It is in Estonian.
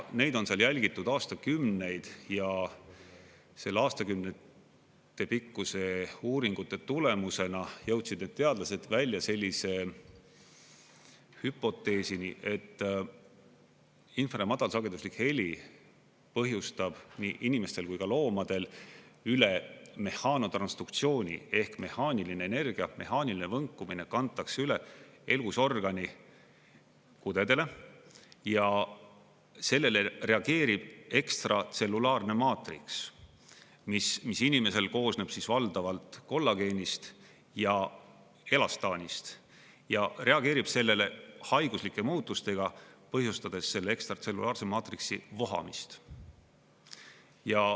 Neid on seal jälgitud aastakümneid ja aastakümnetepikkuste uuringute tulemusena jõudsid need teadlased välja sellise hüpoteesini, et infra- ja madalsageduslik heli põhjustab nii inimestel kui ka loomadel üle mehaanotransduktsiooni ehk mehaaniline energia, mehaaniline võnkumine kantakse üle elusorgani kudedele ja sellele reageerib ekstratsellulaarne maatriks, mis inimesel koosneb valdavalt kollageenist ja elastaanist, ja reageerib sellele haiguslike muutustega, põhjustades selle ekstratsellulaarse maatriksi vohamist.